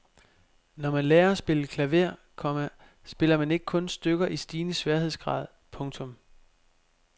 Når man lærer at spille klaver, komma spiller man ikke kun stykker i stigende sværhedsgrad. punktum